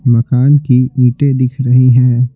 मकान की ईंटें दिख रही हैं।